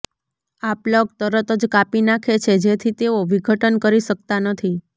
આ પ્લગ તરત જ કાપી નાંખે છે જેથી તેઓ વિઘટન કરી શકતા નથી